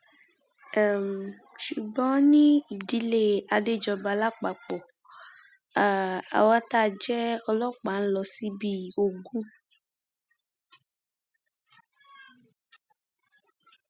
àmọ èmi ń bá ọmọdé ṣe mò ń bá àgbà ṣe òun ni mo fi ń gbéra pẹlú wọn